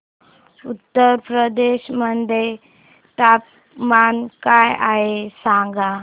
उत्तर प्रदेश मध्ये तापमान काय आहे सांगा